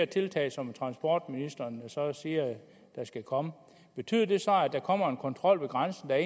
tiltag som transportministeren siger der skal komme betyder det så at der kommer en kontrol ved grænsen der